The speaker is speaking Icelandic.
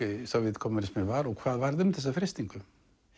Sovétkommúnisminn var og hvað varð um þessa freistingu